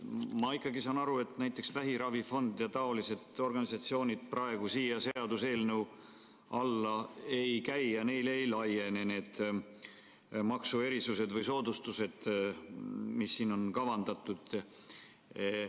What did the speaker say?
Ma saan aru, et vähiravifond ja teised säärased organisatsioonid selle seaduseelnõu alla ei käi ja neile ei laiene need maksuerisused või soodustused, mis siin on kavandatud.